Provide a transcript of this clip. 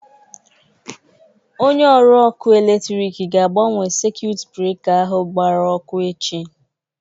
Onye ọrụ ọkụ electriki ga-agbanwe sekuit breka ahụ gbara ọkụ echi.